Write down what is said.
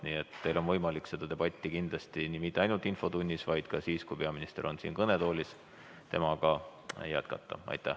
Seega, teil on kindlasti võimalik seda debatti mitte ainult infotunnis, vaid ka siis, kui peaminister on siin kõnetoolis, temaga jätkata.